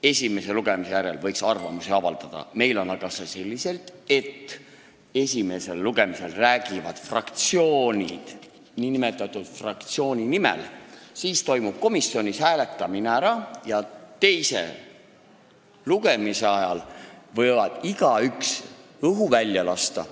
Esimese lugemise järel võiks arvamusi avaldada, meil on aga selliselt, et esimesel lugemisel räägivad fraktsioonid, räägitakse nn fraktsiooni nimel, siis toimub komisjonis hääletamine ja teise lugemise ajal võib igaüks õhu välja lasta.